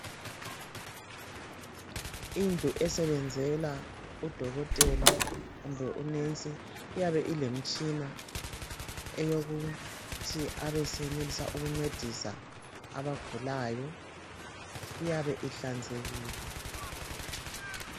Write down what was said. Indlu esebenzela odokotela kumbe omongikazi iyabe ilemitshina eyokuthi abesebenzisa ukuncedisa abagulayo iyabe ihlanzekile